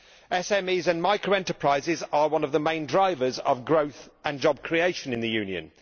SMEs and micro enterprises are one of the main drivers of growth and job creation in the Union.